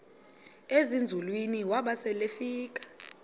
ezinzulwini waba selefika